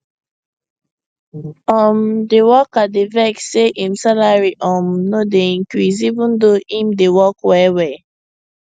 um di worker dey vex say im salary um no dey increase even though im dey work wellwell